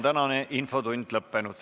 Tänane infotund on lõppenud.